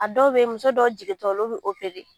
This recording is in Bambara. A dɔw bɛ yen muso dɔw jigin tɔ olu bɛ